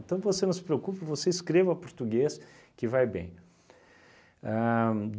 Então, você não se preocupe, você escreva português que vai bem. Ahn